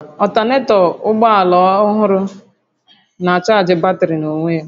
Ọltanetọ nke ụgbọ ala ọgbara ọhụrụ na-achaajị batrị n'onwe ya